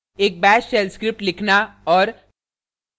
एक bash shell script लिखना और